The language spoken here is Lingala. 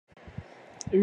Loso madesu na musuni